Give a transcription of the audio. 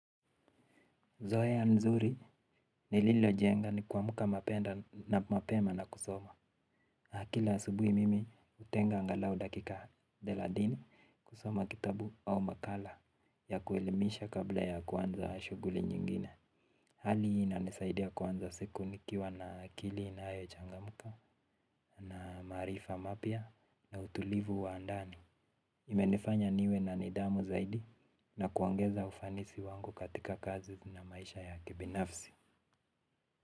Zoe nzuri nililojenga ni kwamuka mapenda na mapema na kusoma. Akila asubuhi mimi utenga ngalau dakika deladini kusoma kitabu au makala ya kuelimisha kabla ya kuanza shuguli nyingine. Hali ina nisaidia kuanza siku nikiwa na kili inayo changamuka na marifa mapia na utulivu wa andani. Imenifanya niwe na nidamu zaidi na kuongeza ufanisi wangu katika kazi na maisha ya kibinafsi.